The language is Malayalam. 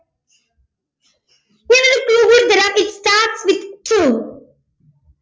ഞാനൊരു clue കൂടി തീരം it starts with two